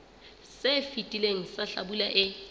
se fetileng sa hlabula e